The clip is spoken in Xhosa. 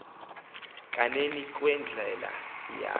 kaneni kweendlela eya